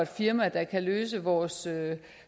firma der kan løse vores